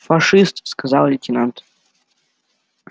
фашист сказал лейтенант